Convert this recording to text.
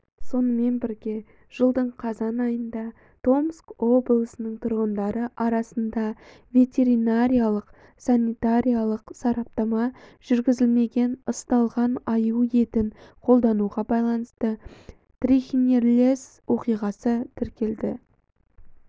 сонымен бірге жылдың қазан айында томск облысының тұрғындары арасында ветеринариялық-санитариялық сараптама жүргізілмеген ысталған аю етін қолдануға байланысты трихинеллездің оқиғасы тіркелді